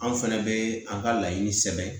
Anw fɛnɛ bɛ an ka laɲini sɛbɛn